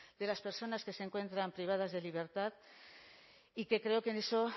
de las personas que se encuentran privadas de libertad y que creo que en eso